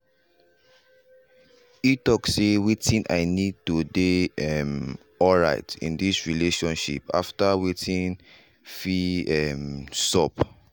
e talk sey wetin i need to dey um alright in this relationship after wetin fin um sup.